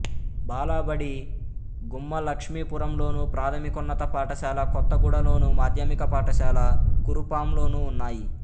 బాలబడి గుమ్మలక్ష్మీపురంలోను ప్రాథమికోన్నత పాఠశాల కొత్తగూడలోను మాధ్యమిక పాఠశాల కురుపాంలోనూ ఉన్నాయి